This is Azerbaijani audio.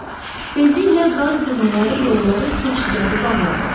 Tezliklə qar yığınları yolları, keçidləri bağladı.